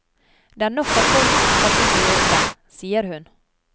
Det er nok av folk som skal inn og jobbe, sier hun.